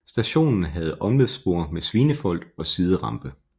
Stationen havde omløbsspor med svinefold og siderampe